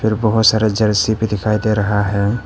बहुत सारा जर्सी भी दिखाई दे रहा है।